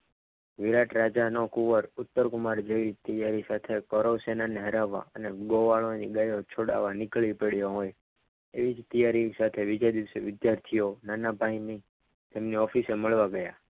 વિરાટ રાજાનો કુંવર ઉત્તરગમાં ઉત્તર કુમાર જેવી કરો સેના ને હરાવવા ગોવાળોની ગાયો છોડાવવા નીકળી પડ્યો હોય તેવી જ તૈયારી સાથે વિજય વિદ્યાર્થીઓ નાના ભાઈને તેમની ઓફિસે મળવા ગયા.